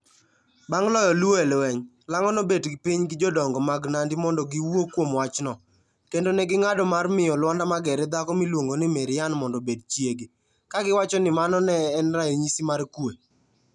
Bang' loyo Luo e lweny, Lang'o nobet piny gi jodongo mag Nandi mondo giwuo kuom wachno, kendo ne ging'ado mar miyo Lwanda Magere dhako miluongo ni Maryann mondo obed chiege, ka giwacho ni mano ne en ranyisi mar kuwe.